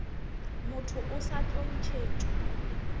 motho o sa tlo ntšhetšwa